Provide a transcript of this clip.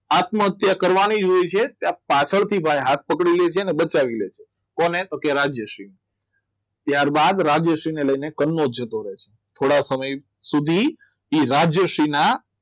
આત્મહત્યા કરવાની જ હોય છે કે પાછળથી ભાઈ હાથ પકડી લે છે અને બચાવી લે છે કોને તો કે રાજ્યશ્રીને ત્યારબાદ રાજેશ્રીને લઈને કનોજ જતો રહે છે થોડા સમય સુધી એ રાજ્યશ્રીના